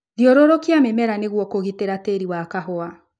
Thiũrũrũkia mĩmera nĩguo kũgitĩra tĩri wa kahũa.